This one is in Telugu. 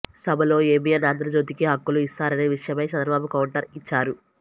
సభలో ఏబీఎన్ ఆంధ్రజ్యోతికి హక్కులు ఇస్తారనే విషమయై చంద్రబాబు కౌంటర్ ఇచ్చారు